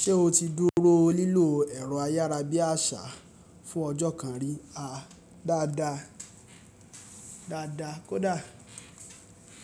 Ṣé o ti dúró lílò ẹ̀rọ ayára bí àṣá fún ọjọ́ kan rí á? Dáadáa, dáadáa kódà.